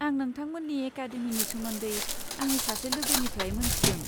आं नोंथांमोननि एकाडेमिनि सोमोन्दै आंनि सासे लोगोनिफ्राय मोन्थिदों।